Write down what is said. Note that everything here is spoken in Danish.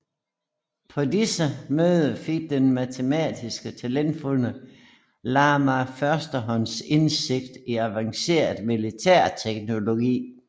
På disse møder fik den matematisk talentfulde Lamarr førstehåndsindsigt i avanceret militærteknologi